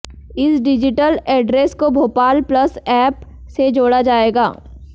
इस digital address को Bhopal plus app से जोड़ा जाएगा